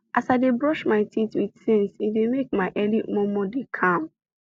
as i dey brush my teeth with sense e dey make my early momo dey calm